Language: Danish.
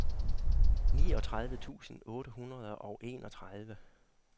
niogtredive tusind otte hundrede og enogtredive